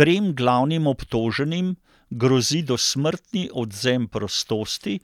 Trem glavnim obtoženim grozi dosmrtni odvzem prostosti,